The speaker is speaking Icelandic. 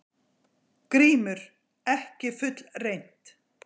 GRÍMUR: Ekki fullreynt.